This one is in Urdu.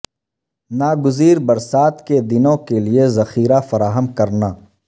ناگزیر برسات کے دنوں کے لئے ذخیرہ فراہم کرنا